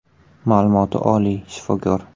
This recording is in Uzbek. Ma’lumoti oliy, shifokor.